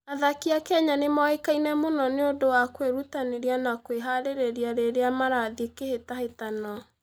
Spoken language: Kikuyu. Athaki a Kenya nĩ moĩkaine mũno nĩ ũndũ wa kwĩrutanĩria na kwĩhaarĩria rĩrĩa marathiĩ kĩhĩtahĩtano.